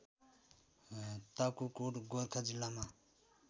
ताकुकोट गोर्खा जिल्लामा